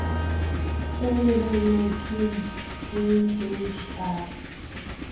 se lebelletsweng k h r